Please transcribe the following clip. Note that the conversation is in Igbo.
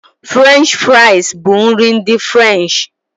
Furenchi furais bụ nri ndị Furansi.